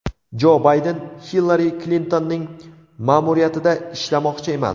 Jo Bayden Hillari Klintonning ma’muriyatida ishlamoqchi emas.